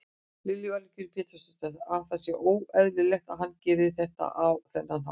Lillý Valgerður Pétursdóttir: Að það sé óeðlilegt að hann geri þetta á þennan hátt?